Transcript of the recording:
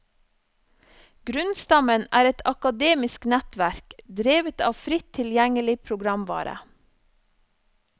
Grunnstammen er et akademisk nettverk, drevet av fritt tilgjengelig programvare.